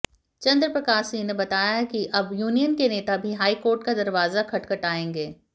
चंद्र प्रकाश सिंह ने बताया कि अब यूनियन के नेता भी हाईकोर्ट का दरवाजा खटखटाएंगे